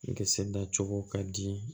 Kisɛ dacogo ka di